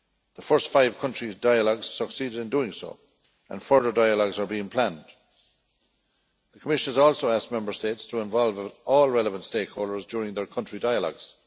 The first five countries' dialogues succeeded in doing so, and further dialogues are being planned. The Commission has also asked Member States to involve all relevant stakeholders during their country dialogues.